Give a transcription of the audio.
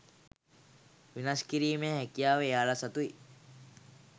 වෙනස් කිරීමේ හැකියාව එයාලා සතුයි